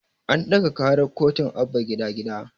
An ɗaga ƙarar kotun Abba gida gida